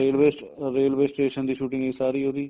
railways railway station ਦੀ shooting ਸੀ ਸਾਰੀ ਉਹਦੀ